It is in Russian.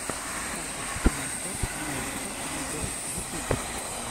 запись фанни стоп моушен видеос ютуб